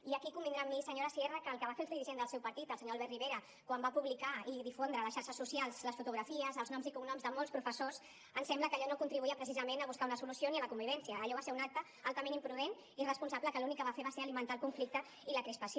i aquí convindrà amb mi senyora sierra que el que va fer el dirigent del seu partit el senyor albert rivera quan va publicar i difondre a les xarxes socials les fotografies els noms i cognoms de molts professors ens sembla que allò no contribuïa precisament a buscar una solució ni a la convivència allò va ser un acte altament imprudent irresponsable que l’únic que va fer va ser alimentar el conflicte i la crispació